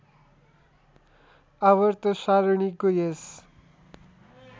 आवर्त सारणीको यस